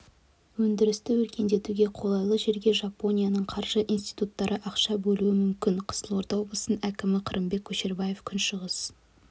өндірісті өркендетуге қолайлы жерге жапонияның қаржы институттары ақша бөлуі мүмкін қызылорда облысының әкімі қырымбек көшербаев күншығыс